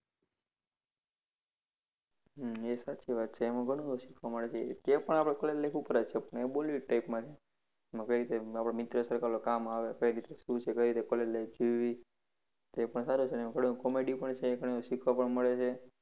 હમ એ સાચી વાત છે. એમાં ઘણું બધું શીખવા મળે છે. તે પણ આપડે college life ઉપર જ છે પણ એ bollywood type માં છે. એમાં કઈ રીતે આપડા મિત્ર circle કામ આવે, કઈ રીતે શું છે, કઈ રીતે college life જીવવી. તે પણ સારું છે થોડુંક comedy પણ છે, ઘણું શીખવા પણ મળે છે.